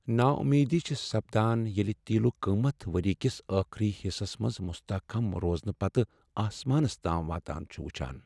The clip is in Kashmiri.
ناامیدی چھےٚ سپدان ییٚلہ تیلُک قیمت ؤریہ کس ٲخری حصس منز مستحکم روزنہٕ پتہٕ آسمانس تام واتان چھِ وچھان۔